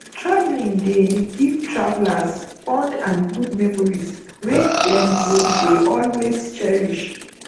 traveling dey give travelers fond and good memories wey dem go dey always cherish